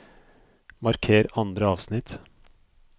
Marker andre avsnitt